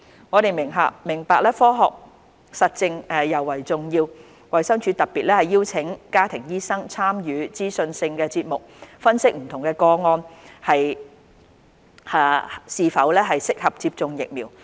我們明白科學實證尤為重要，衞生署特別邀請家庭醫生參與資訊性節目分析不同個案是否適合接種疫苗。